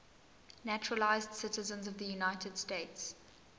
naturalized citizens of the united states